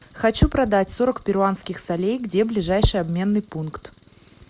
хочу продать сорок перуанских солей где ближайший обменный пункт